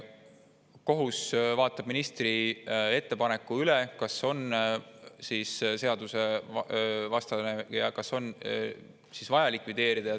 Kohus vaatab üle ministri ettepaneku, kas on midagi seadusvastast ja kas on vaja likvideerida.